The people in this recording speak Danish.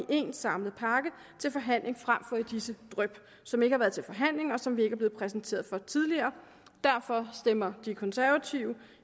en samlet pakke til forhandling frem for i disse dryp som ikke har været til forhandling og som vi ikke er blevet præsenteret for tidligere derfor stemmer konservative